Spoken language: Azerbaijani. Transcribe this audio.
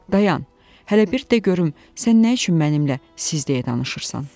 Dayan, hələ bir də görüm sən nə üçün mənimlə siz deyə danışırsan?